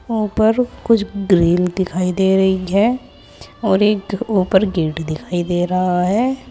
उपर कुछ ग्रील दिखाई दे रही है और एक उपर गेट दिखाई दे रहा है।